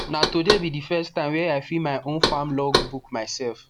na today be the first time were i fill my own farm logbook by myself